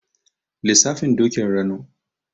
Lissafin Dokin Rano.